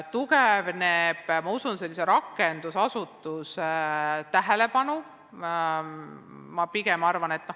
Tugevneb tähelepanu sellise rakendusasutuse tegevuse vastu.